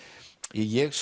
ég